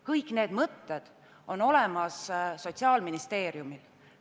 Kõik need mõtted on ka Sotsiaalministeeriumil.